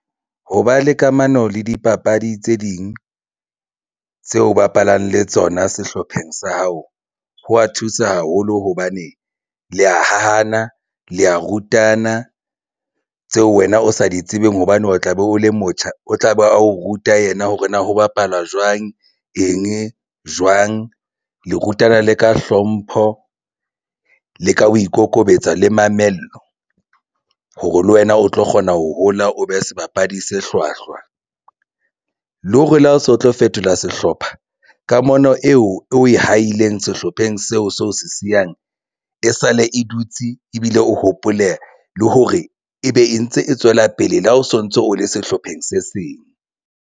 Ho ba le kamano le dipapadi tse ding tseo o bapalang le tsona sehlopheng sa hao. Ho a thusa haholo hobane le ya hahana le a rutana tseo wena o sa di tsebeng hobane o tla be o le motjha, o tla be a o ruta yena hore na ho bapalwa jwang, eng, jwang le rutana le ka hlompho le ka ho ikokobetsa le mamello hore le wena o tlo kgona ho hola, o be sebapadi se hlwahlwa le hore le ha o so tlo fetola sehlopha kamano eo o e haileng sehlopheng seo seo se siyang e sale, e dutse ebile o hopole le hore ebe e ntse e tswela pele le ha o sontso o le sehlopheng se seng.